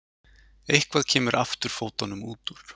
Eitthvað kemur afturfótunum út úr